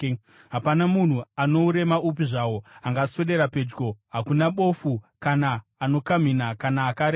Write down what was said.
Hapana munhu ano urema hupi zvahwo angaswedera pedyo: hakuna bofu kana anokamhina kana akaremara;